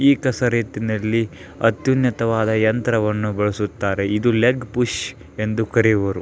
ಈ ಕಸರತ್ತಿನಲ್ಲಿ ಅತ್ಯುನ್ನತ ವಾದ್ ಯಂತ್ರವನ್ನು ಬಳಸುತ್ತಾರೆ ಇದನ್ನು ಲೆಗ್ ಪುಶ್ ಎಂದು ಕರೆಯುವರು .